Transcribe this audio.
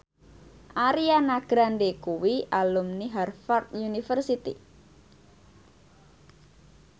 Ariana Grande kuwi alumni Harvard university